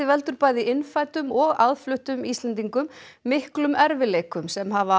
veldur bæði innfæddum og aðfluttum Íslendingum miklum erfiðleikum sem hafa